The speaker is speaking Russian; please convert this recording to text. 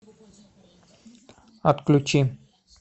отключи